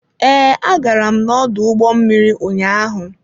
Ee, agara m n'ọdụ ụgbọ mmiri ụnyaahụ.